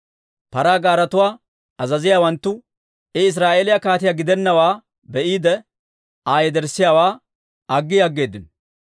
Paraa gaaretuwaa azaziyaawanttu I Israa'eeliyaa kaatiyaa gidennawaa be'iide, Aa yederssiyaawaa aggi aggeeddino.